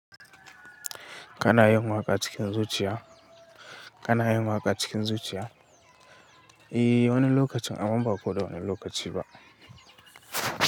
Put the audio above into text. Kana yin waƙa cikin zuciya, kana yin waƙa cikin zuciya. I, wani lokacin amman ba koda wani lokaci ba.